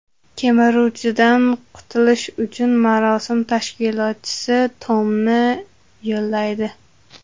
Kemiruvchidan qutulish uchun marosim tashkilotchisi Tomni yollaydi.